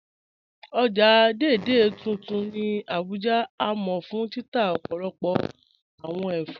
Ọ̀já Dei Dei tuntun ni Abuja ni a mọ fun títà ọ̀pọ̀lọ̀pọ̀ awọn èfọ́.